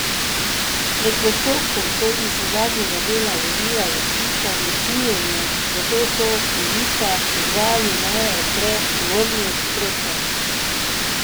Med postopkom so iz zadnjega dela vozila zaslišali cviljenje, zato so voznika pozvali, naj odpre tovorni prostor.